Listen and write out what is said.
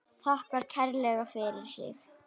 Þakkar kærlega fyrir sig.